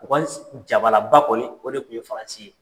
Jalaba kɔni o de tun ye faransii ye.